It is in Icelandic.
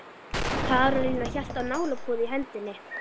Karólína hélt á nálapúða í hendinni.